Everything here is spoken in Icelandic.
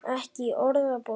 Ekki í orðabókinni.